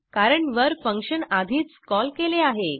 कारण वर फंक्शन आधीच कॉल केले आहे